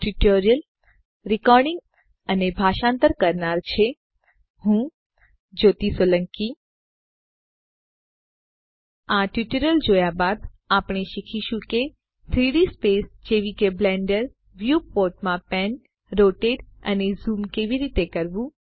આ ટ્યુટોરીયલ જોયા બાદ આપણે શીખીશું કે 3ડી સ્પેસ જેવી કે બ્લેન્ડર વ્યૂપોર્ટમાં પેન રોટેટ અને ઝૂમ કેવી રીતે કરવું